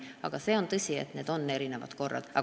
Aga on tõsi, et need korrad on erinevad.